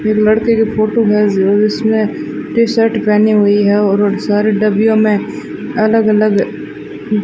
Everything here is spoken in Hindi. एक लड़की की फोटो है उसमें टी शर्ट पहनी हुई है और सारी डब्बियों में अलग अलग यह --